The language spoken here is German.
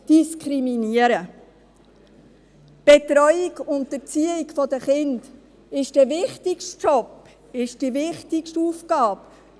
Die Betreuung und Erziehung von Kindern ist der wichtigste Job und die wichtigste Aufgabe.